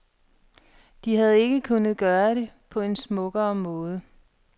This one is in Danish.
De havde ikke kunnet gøre det på en smukkere måde.